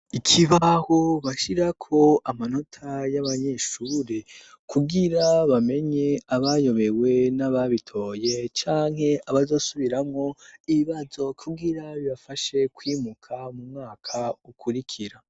Ikibaho bashirako amanota y'abanyeshure kubwira bamenye abayobewe n'ababitoye canke abazosubiramo ibibazo kubwira bibafashe kwimuka mu mwaka ukurikira.